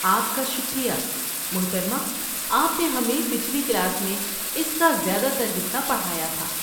آپ کا شکریہ، محترمہ، آپ نے ہمیں پچھلی کلاس میں اس کا زیادہ تر حصہ پڑھایا تھا۔